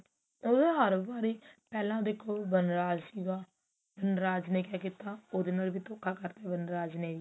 ਉਹ ਤਾਂ ਹਰ ਵਾਰੀ ਪਹਿਲਾਂ ਦੇਖੋ ਵਨਰਾਜ ਸੀਗਾ ਵਨਰਾਜ ਨੇ ਕਿਆ ਕੀਤਾ ਉਹਦੇ ਨਾਲ ਵੀ ਧੋਖਾ ਕਰਤਾ ਵਨਰਾਜ ਨੇ ਵੀ